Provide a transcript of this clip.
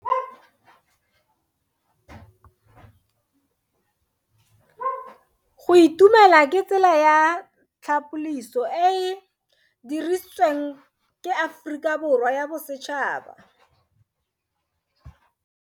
Go itumela ke tsela ya tlhapoliso e e dirisitsweng ke Aforika Borwa ya Bosetšhaba.